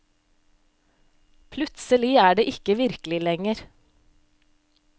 Plutselig er det ikke virkelig lenger.